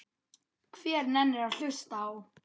Hver nennir að hlusta á.